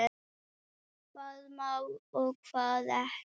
Hvað má og hvað ekki.